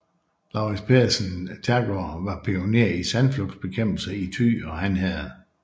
Lauritz Pedersen Thagaard var pioner i sandflugtsbekæmpelsen i Thy og Han herred